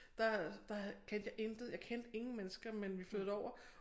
Der der kendte jeg intet jeg kendte ingen mennesker men vi flyttede derover